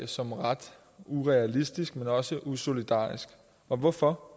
som ret urealistisk men også usolidarisk og hvorfor